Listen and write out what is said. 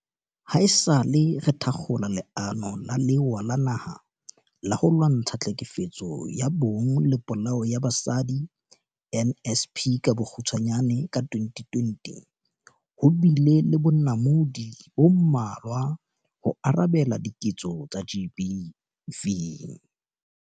Haesale re thakgola Leano la Lewa la Naha la ho Lwantsha Tlhekefetso ya Bong le Polao ya Basadi NSP ka 2020, ho bile le bonamodi bo mmalwa ho arabela diketso tsa GBV.